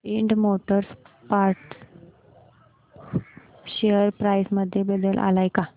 Ind motor parts share price मध्ये बदल आलाय का